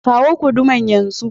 Kawo guduman yan zu.